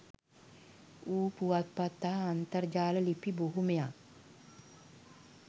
වූ පුවත්පත් හා අන්තර්ජාල ලිපි බොහොමයක්